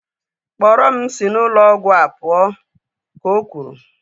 Kpọrọ m si n'ụlọ ọgwụ a pụọ! ka o kwuru